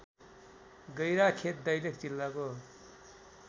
गैराखेत दैलेख जिल्लाको